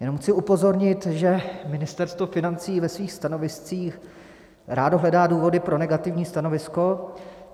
Jen chci upozornit, že Ministerstvo financí ve svých stanoviscích rádo hledá důvody pro negativní stanovisko.